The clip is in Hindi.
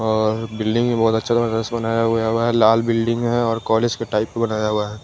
और बिल्डिंग भी बहोत अच्छा सा जैसे बनाया हुआ है लाल बिल्डिंग है और कॉलेज के टाइप का बनाया हुआ है।